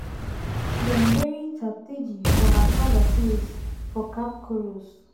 dem bury cheptegei for her father father place for kapkoros.